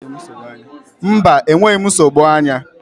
Mba, enweghị m nsogbu anya.